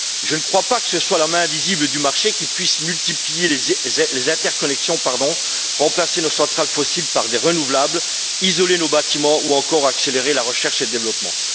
Je ne crois pas que ce soit la main invisible du marché qui puisse multiplier les interconnexions, remplacer nos centrales fossiles par des énergies renouvelables, isoler nos bâtiments ou encore accélérer la recherche et le développement.